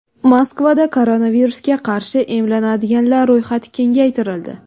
Moskvada koronavirusga qarshi emlanadiganlar ro‘yxati kengaytirildi.